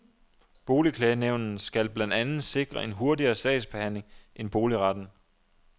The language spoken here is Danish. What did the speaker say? Boligklagenævnet skal blandt andet sikre en hurtigere sagsbehandling end boligretten.